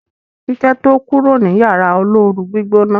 Kiki to kúrò ní Yàrá olóoru-gbígbóná.